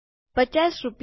૫૦ રૂપિયા